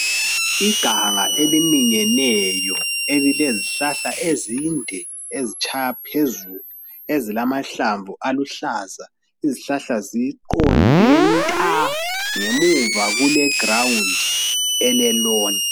Iganga eliminyeneyo elilezihlahla ezinde ezitshaya phezulu esilamahlamvu aluhlaza. Isihlahla ziqonde nta ngemuva kule ground ele loan.